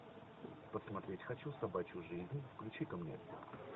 посмотреть хочу собачью жизнь включи ка мне